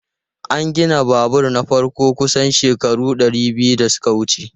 An gina babur na farko kusan shekaru dari biyu da suka wuce.